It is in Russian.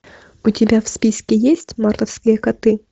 у тебя в списке есть мартовские коты